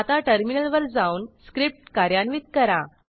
आता टर्मिनलवर जाऊन स्क्रिप्ट कार्यान्वित करा